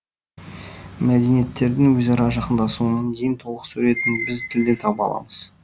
мәдениеттердің өзара жақындасуының ең толық суретін біз тілден таба аламыз